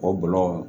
O bulɔ